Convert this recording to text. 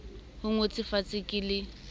e ngotswe fatshe ke le